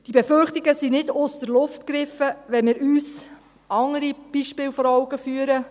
Diese Befürchtungen sind nicht aus der Luft gegriffen, wenn wir uns andere Beispiele vor Augen führen.